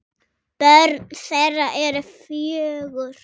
Börn þeirra eru fjögur.